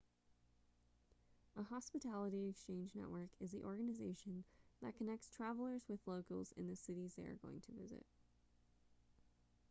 a hospitality exchange network is the organization that connects travelers with locals in the cities they are going to visit